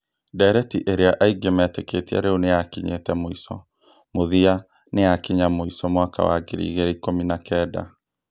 Ndireti ĩrĩa aingĩ metĩkĩtie rĩu nĩyakinyĩte mũico, mũthia nĩyakinya mũico mwaka wa ngiri igĩrĩ ikumi na kend